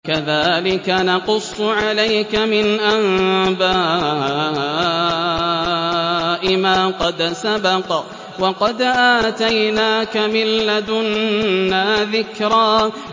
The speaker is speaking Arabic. كَذَٰلِكَ نَقُصُّ عَلَيْكَ مِنْ أَنبَاءِ مَا قَدْ سَبَقَ ۚ وَقَدْ آتَيْنَاكَ مِن لَّدُنَّا ذِكْرًا